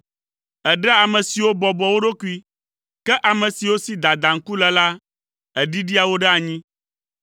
Èɖea ame siwo bɔbɔa wo ɖokui, ke ame siwo si dadaŋku le la, èɖiɖia wo ɖe anyi.